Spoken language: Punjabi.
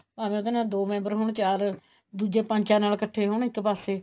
ਭਾਵੇਂ ਉਹਦੇ ਨਾਲ ਦੋ member ਹੋਣ ਚਾਰ ਦੂਜੇ ਪੰਜ ਚਾਰ ਇੱਕਠੇ ਹੋਣ ਇੱਕ ਪਾਸੇ